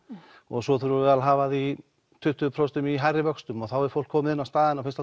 og svo þurfum við að hafa þig í tuttugu prósent í hærri vöxtum og þá er fólk komið inn á staðinn og finnst